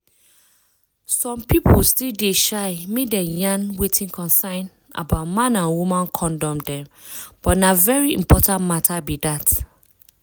some people still dey shy make dem yarn wetin concern about man and woman condom dem but na very important matter be dat